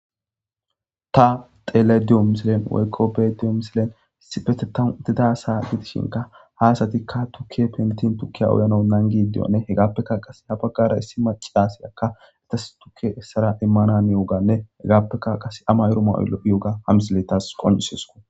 Ta tele diyo misilen woykko bediyo misilen sipeteto didasa gitishinka haasatikka tukke pentin tukkiya oyno nangidiyonne hegaappekka qase ha baggara issi maci aasi akka etas tukke essara immananiuganne hegaappekka qase ama yuro maoylo'ioga hamisiletas qonisesuko.